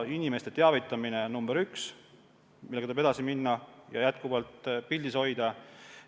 Inimeste teavitamine on number üks, millega tuleb edasi minna, teema tuleb jätkuvalt pildis hoida.